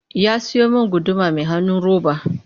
Ya siyo min guduma mai hanun roba